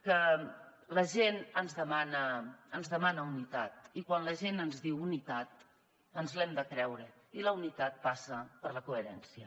que la gent ens demana unitat i quan la gent ens diu unitat ens l’hem de creure i la unitat passa per la coherència